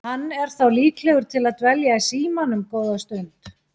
Hann er þá líklegur til að dvelja í símanum góða stund.